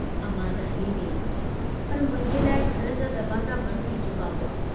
अमां त हली वेई पर मुंहिंजे लाइ घर जा दरवाज़ा बंद थी चुका हुआ।